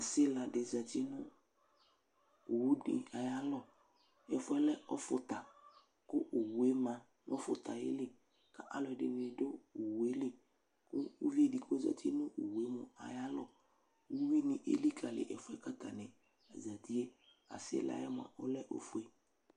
Asiladɩ zati nʋ owudɩ ayalɔ Ɛfʋ yɛ lɛ ɔfʋta kʋ owu yɛ ma nʋ ɔfʋta yɛ li kʋ alʋ ɛdɩnɩ dʋ owu yɛ li kʋ uvidɩ k'ozati nʋ owu yɛ mua ayalɔ, uyui nɩ elikali ɛfu yɛ bua kʋ atanɩ ezati yɛ Asila yɛ mua ɔlɛ ofue